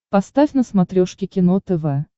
поставь на смотрешке кино тв